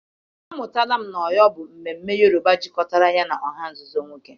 Amụtara m na Orò bụ mmemme Yoruba jikọtara ya na ọha nzuzo nwoke.